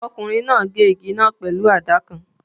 Ọkùnrin náà gé igi náà pẹ̀lú àdá kan